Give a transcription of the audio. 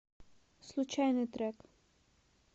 случайный трек